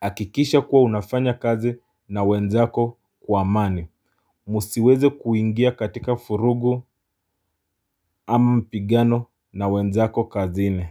Akikisha kuwa unafanya kazi na wenzako kwa amani msiweze kuingia katika vurugu ama mpigano na wenzako kazini.